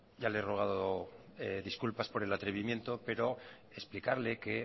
ya le he rogado disculpas por el atrevimiento pero explicarle que